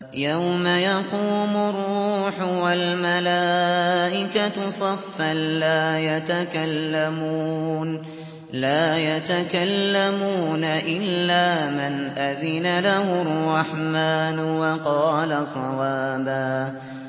يَوْمَ يَقُومُ الرُّوحُ وَالْمَلَائِكَةُ صَفًّا ۖ لَّا يَتَكَلَّمُونَ إِلَّا مَنْ أَذِنَ لَهُ الرَّحْمَٰنُ وَقَالَ صَوَابًا